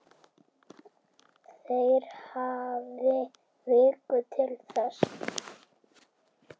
Þeir hafi viku til þess.